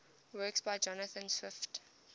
works by jonathan swift